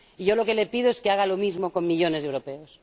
Yo lo que le pido es que haga lo mismo con millones de europeos.